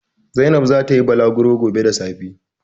Zainab za ta yi balagro gobe da safe.